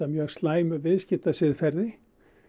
mjög slæmu viðskiptasiðferði